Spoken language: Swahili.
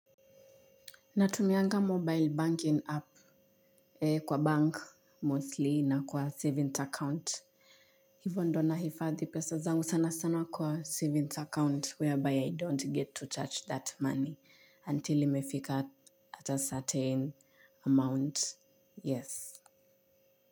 Natumianga mobile banking app kwa bank mostly na kwa savings account hivyo ndio nahifadhi pesa zangu sana sana kwa savings account whereby i don't get to touch that money until imefika at a certain amount yes.